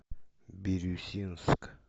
бирюсинск